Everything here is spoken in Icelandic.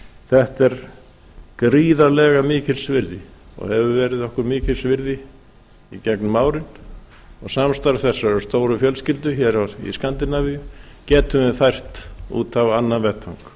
þetta er gríðarlega mikils virði og hefur verið okkur mikils virði í gegnum árum og samstarf þessarar stóru fjölskyldu hér í skandinavíu getum við fært út á annan vettvang